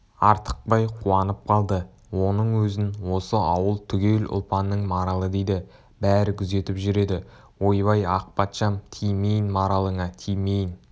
артықбай қуанып қалды оның өзін осы ауыл түгел ұлпанның маралы дейді бәрі күзетіп жүреді ойбай ақ патшам тимейін маралыңа тимейін